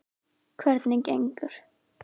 Hvernig gengur?